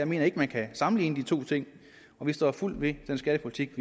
mener at man kan sammenligne de to ting og vi står fuldt ved den skattepolitik